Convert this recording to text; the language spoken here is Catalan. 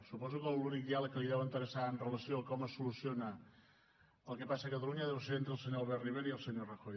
suposo que l’únic diàleg que li deu interessar amb relació a com es soluciona el que passa a catalunya deu ser entre el senyor albert rivera i el senyor rajoy